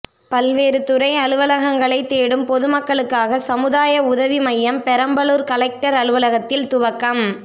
பல்வேறு துறை அலுவலகங்களை தேடும் பொதுமக்களுக்காக சமுதாய உதவி மையம் பெரம்பலூர் கலெக்டர் அலுவலகத்தில் துவக்கம்